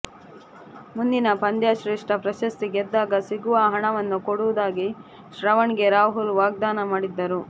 ಮುಂದಿನ ಪಂದ್ಯಶ್ರೇಷ್ಠ ಪ್ರಶಸ್ತಿ ಗೆದ್ದಾಗ ಸಿಗುವ ಹಣವನ್ನು ಕೊಡುವುದಾಗಿ ಶ್ರವಣ್ಗೆ ರಾಹುಲ್ ವಾಗ್ಧಾನ ಮಾಡಿದ್ದರು